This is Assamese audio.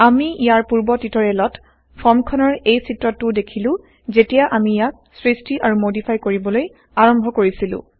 আমি ইয়াৰ পূৰ্ব160টিউটৰিয়েলত ফৰ্মখনৰ এই চিত্ৰটোও দেখিলো যেতিয়া আমি ইয়াক সৄষ্টি160আৰু মডিফাই কৰিবলৈ আৰম্ভ কৰিছিলো